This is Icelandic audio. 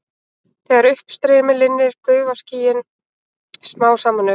Þegar uppstreymi linnir gufa skýin smám saman upp.